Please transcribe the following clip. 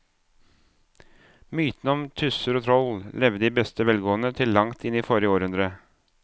Mytene om tusser og troll levde i beste velgående til langt inn i forrige århundre.